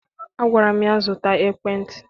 Agwara m ya, zụta ekwentị!